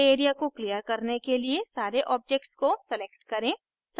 display area को clear करने के लिए सारे objects को select करें